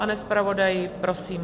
Pane zpravodaji, prosím.